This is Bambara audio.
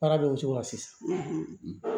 Baara bɛ o cogo la sisan